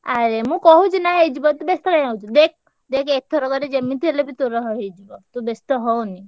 ଆରେ ମୁଁ କହୁଛିନା ହେଇଯିବ ତୁ ବେସ୍ତ କାଇଁ ହଉଚୁ ଦେଖ୍ ଦେଖେ ଏଥରକରେ ଯେମିତି ହେଲେବି ତୋର ~ହ ହେଇଯିବ, ତୁ ବେସ୍ତ ହଅନି।